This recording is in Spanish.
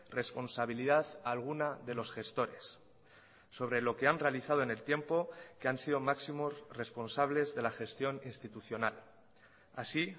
responsabilidad alguna de los gestores sobre lo que han realizado en el tiempo que han sido máximos responsables de la gestión institucional así